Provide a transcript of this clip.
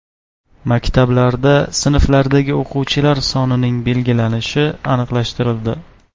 Maktablarda sinflardagi o‘quvchilar sonining belgilanishi aniqlashtirildi.